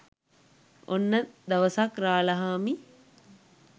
ඔන්න දවසක් රාලහාමි